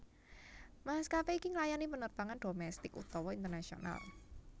Maskapé iki nglayani penerbangan domestik utawa internasional